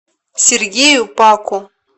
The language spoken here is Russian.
сергею паку